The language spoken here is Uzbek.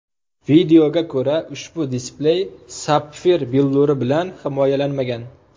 Videoga ko‘ra, ushbu displey sapfir billuri bilan himoyalanmagan.